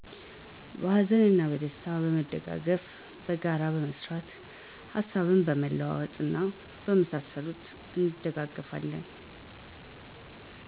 በሀዘንና በደስታ በመደጋገፍ፣ በጋራ በመስራት፣ ሀሳብ በመለዋወጥ እና በመሳሰሉት እንደጋገፋለን።